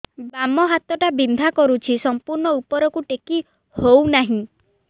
ବାମ ହାତ ଟା ବିନ୍ଧା କରୁଛି ସମ୍ପୂର୍ଣ ଉପରକୁ ଟେକି ହୋଉନାହିଁ